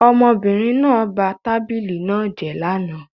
Ọmọbìnrin náà ba tábìlì náà jẹ́ lánàá